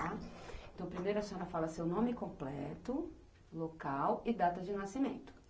tá. Então, primeiro a senhora fala seu nome completo, local e data de nascimento.